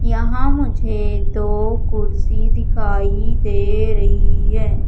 यहां मुझे दो कुर्सी दिखाई दे रही है।